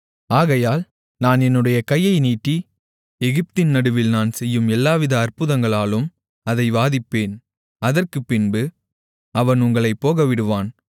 ஆகையால் நான் என்னுடைய கையை நீட்டி எகிப்தின் நடுவில் நான் செய்யும் எல்லாவித அற்புதங்களாலும் அதை வாதிப்பேன் அதற்குப்பின்பு அவன் உங்களைப் போகவிடுவான்